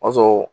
O y'a sɔrɔ